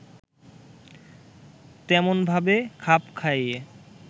তেমনভাবে খাপ খাইয়ে